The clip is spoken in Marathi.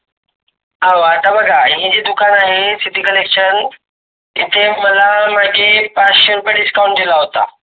हो आता बघा यांची जे दुकान आहे Collection तिथे मला पाचशे रुपये Discount दिला होता.